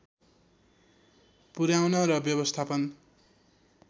पुर्‍याउन र व्यवस्थापन